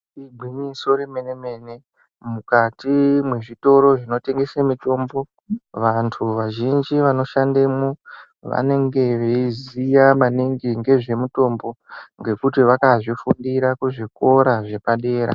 Igwiñyiso remene mene mukati mwezvitoro zvinotengese mitombo vantu vazhinji vqnoshandemwo vanenge veiziya maningi ngezvemutombo ngekuti vakazvifundira kuzvikora zvepadera.